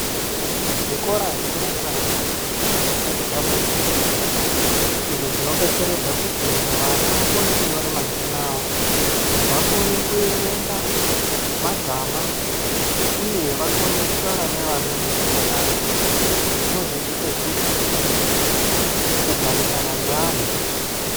Zvikora zverumbwana zvisati zvabva zera, izvo zvinobetseredza kuti vana vakone kunyore mazina avo, vakone kuerenga magama, uye vakone kutaura nevamweni zvakanaka, zvinodzidzise futi, kugarisana neanhu.